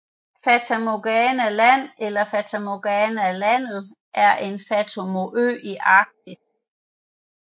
Fata Morgana Land eller Fata Morgana Landet var en fantomø i Arktis